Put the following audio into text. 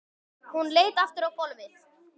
Hún leit aftur fram á gólfið.